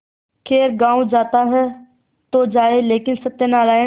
खैर गॉँव जाता है तो जाए लेकिन सत्यनारायण